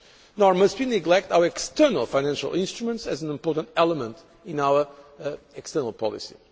Nor must we neglect our external financial instruments as an important element in our external policy.